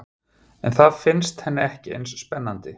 En það finnst henni ekki eins spennandi.